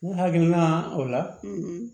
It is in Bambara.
Ne hakilina o la